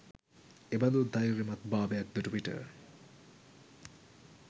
එබඳු ධෛර්යමත්භාවයක් දුටු විට